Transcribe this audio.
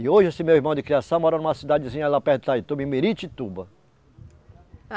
E hoje esse meu irmão de criação mora numa cidadezinha lá perto de Itaituba, em Miritituba. ah